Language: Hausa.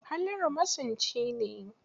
Halliru masunci ne.